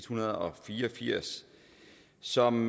hundrede og fire og firs som